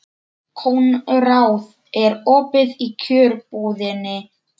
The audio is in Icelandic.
Konráð, er opið í Kjörbúðinni?